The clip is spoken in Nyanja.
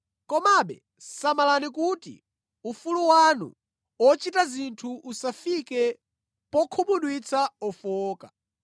Komabe samalani kuti ufulu wanu ochita zinthu usafike pokhumudwitsa ofowoka.